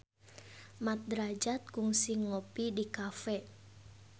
Mat Drajat kungsi ngopi di cafe